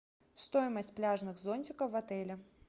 стоимость пляжных зонтиков в отеле